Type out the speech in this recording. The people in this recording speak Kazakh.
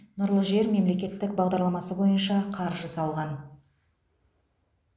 нұрлы жер мемлекеттік бағдарламасы бойынша қаржы салған